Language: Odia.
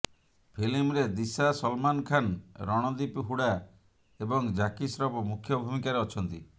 ଫିଲ୍ମରେ ଦିଶା ସଲମାନ ଖାନ୍ ରଣଦୀପ ହୁଡ଼ା ଏବଂ ଜ୍ୟାକି ଶ୍ରଫ ମୁଖ୍ୟ ଭୂମିକାରେ ଅଛନ୍ତି